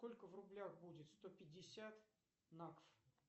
сколько в рублях будет сто пятьдесят накфф